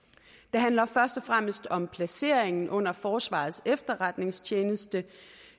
handler først og fremmest om placeringen under forsvarets efterretningstjeneste